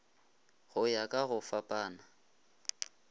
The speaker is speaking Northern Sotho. go ya ka go fapana